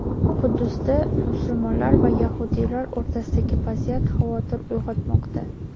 Quddusda musulmonlar va yahudiylar o‘rtasidagi vaziyat xavotir uyg‘otmoqda.